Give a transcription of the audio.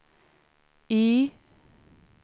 Y